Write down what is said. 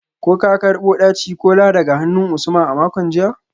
Ko ka karbo daci-kola daga hannun Usman a makon jiya?